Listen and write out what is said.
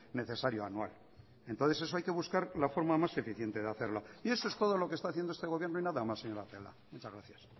necesario anual entonces eso hay que buscar la forma más eficiente de hacerlo y eso es todo lo que está haciendo este gobierno y nada más señora celaá muchas gracias